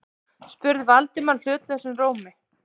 spurði Valdimar hlutlausum rómi.